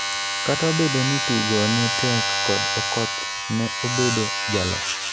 kata obedo ni tugo ne tek kod Okoth ne obedo jaloch